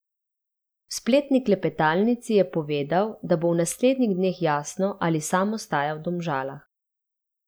V spletni klepetalnici je povedal, da bo v naslednjih dneh jasno, ali sam ostaja v Domžalah.